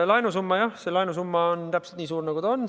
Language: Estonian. Laenusumma – jah, see laenusumma on täpselt nii suur, nagu ta on.